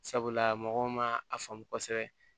Sabula mɔgɔw ma a faamu kosɛbɛ